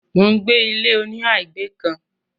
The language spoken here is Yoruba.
mò ń gbé ilé -oníhà ìgbé kan.